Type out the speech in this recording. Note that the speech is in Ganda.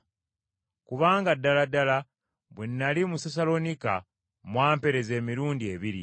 Kubanga ddala ddala bwe nnali mu Sessaloniika mwampeereza emirundi ebiri.